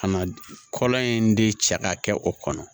Ka na kɔlɔn in de cɛ ka kɛ o kɔnɔ